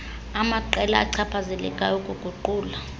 amaqela achaphazelekayo ukuguqula